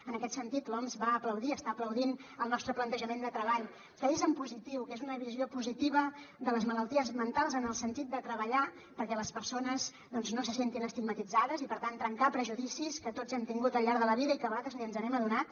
en aquest sentit l’oms va aplaudir està aplaudint el nostre plantejament de treball que és en positiu que és una visió positiva de les malalties mentals en el sentit de treballar perquè les persones doncs no se sentin estigmatitzades i per tant trencar prejudicis que tots hem tingut al llarg de la vida i que a vegades ni ens n’hem adonat